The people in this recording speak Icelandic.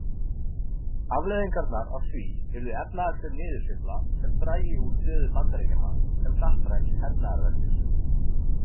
Afleiðingarnar af því yrðu efnahagsleg niðursveifla sem drægi úr stöðu Bandaríkjanna sem hnattræns hernaðarveldis.